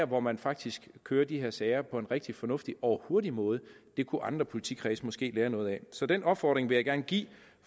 hvor man faktisk kører de her sager på en rigtig fornuftig og hurtig måde kunne andre politikredse måske lære noget af så den opfordring vil jeg gerne give